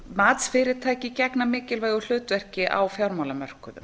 matsfyrirtæki gegna mikilvægu hlutverki á fjármálamörkuðum